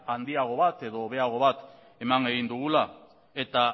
handiago bat edo hobeago bat eman egin dugula eta